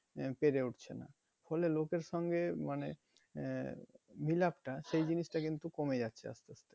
আহ পেরে উঠছে না ফলে লোকের সঙ্গে মানে আহ মিলাপটা সেই জিনিসটা কিন্তু কমে যাচ্ছে আস্তে আস্তে